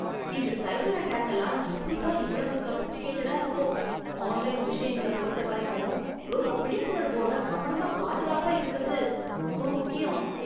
இந்த cyber attack எல்லாம் எப்புடி தான் இவ்வளவு சோஃபிஸ்டிகேட்டடா இருக்கோ. ஆன்லைன் விஷயங்கள பொருத்தவரைக்கும் ரொம்ப விழிப்புணர்வோட, கவனமா பாதுகாப்பா இருக்கறது ரொம்ப முக்கியம்.